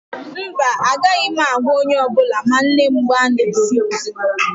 Mba, agaghị m agwa onye ọ bụla ma nne m gbaa n'ezi